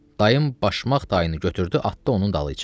Dayım başmaq dayını götürdü, atdı onun dalıyca.